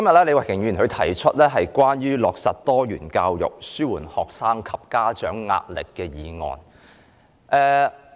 李慧琼議員今天動議"落實多元教育紓緩學生及家長壓力"的議案。